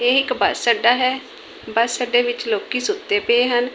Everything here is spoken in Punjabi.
ਇਹ ਇੱਕ ਬਸ ਅੱਡਾ ਹੈ। ਬਸ ਅੱਡੇ ਵਿੱਚ ਲੋਕੀ ਸੁੱਤੇ ਪਏ ਹਨ।